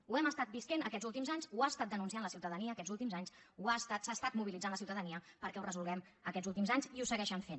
ho hem estat vivint aquests últims anys ho ha estat denunciant la ciutadania aquests últims anys s’ha estat mobilitzant la ciutadania perquè ho resolguem aquests últims anys i ho segueixen fent